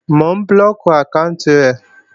Mò ń blóòkì àkáànti rẹ̀